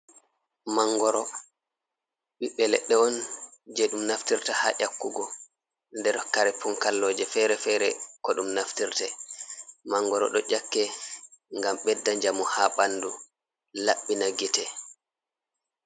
Mangoro ɓiɓɓe leɗɗe on, je ɗum naftirta ha nyakkugo, nder kare pun kalloje fere-fere ko ɗum naftirte, mangoro do ƴakke ngam bedda njamu haa ɓandu labbina gite.